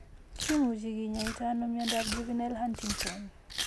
Kimuche kinyaita ano miondap Juvenile Huntington?